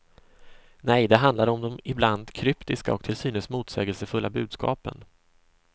Nej, det handlar om de ibland kryptiska och till synes motsägelsefulla budskapen.